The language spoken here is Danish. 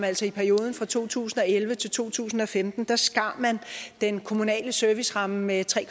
altså i perioden fra to tusind og elleve til to tusind og femten skar man den kommunale serviceramme med tre